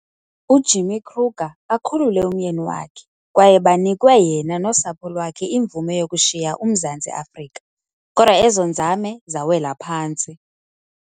uJimmy Kruger akhulule umyeni wakhe kwaye banikwe yena nosapho lwakhe imvume yokushiya uMzantsi Afrika, kodwa ezo nzame zawela phantsi.